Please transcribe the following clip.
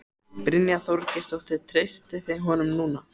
Brynja Þorgeirsdóttir: Treystið þið honum núna?